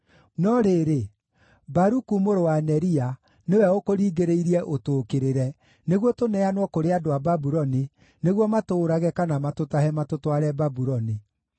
No rĩrĩ, Baruku mũrũ wa Neria nĩwe ũkũringĩrĩirie ũtũũkĩrĩre, nĩguo tũneanwo kũrĩ andũ a Babuloni, nĩguo matũũrage, kana matũtahe, matũtware Babuloni.”